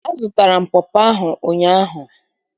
Azụtara m pọpọ ahụ ụnyaahụ.